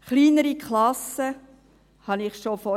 Kleinere Klassen wären sicher eine wichtige Forderung.